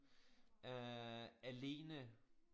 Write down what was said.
Øh alene